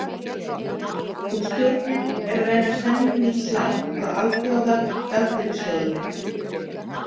Og stjórnin er að reyna að semja um nýtt lán frá Alþjóða gjaldeyrissjóðurinn.